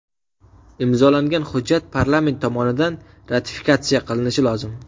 Imzolangan hujjat parlament tomonidan ratifikatsiya qilinishi lozim.